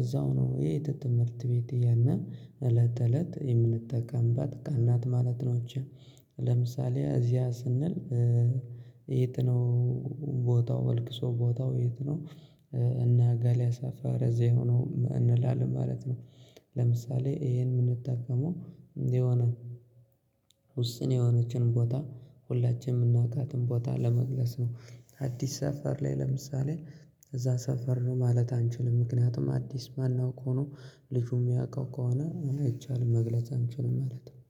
እዛው ነው የት ትምህርት ቤት እያልን እለት እለት የምንጠቀምባት ቃል ናት ማለት ነው። እቺ ለምሳሌ እዚያ ስንል ነው ቦታው ልቅሶ ቦታው የት ነው? እና ጋልያ ሰፈር እዚህ ሆኖ እንላለን ማለት ነው። ለምሳሌ ይሄን የምንጠቀመው የሆነ ውስን የሆነችን ቦታ ሁላችንም የምናውቃትን ቦታ ለመግለጽ ነው። አዲስ ሰፈር ላይ ለምሳሌ እዛ ሰፈር ነው ማለት አንችልም ምክንያቱም አዲስ ማን አውቆ ነው ልጁም ያውቀው ከሆነ አይቻልም መግለጽ አንችልም ማለት ነው